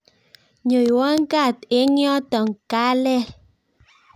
nyoiwa kaat eng yoto kalel